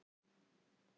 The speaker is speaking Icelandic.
Þið eruð tálbeitan.